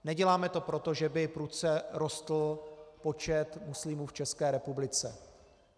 Neděláme to proto, že by prudce rostl počet muslimů v České republice.